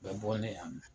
U bɛ bɔ ne yan nɔ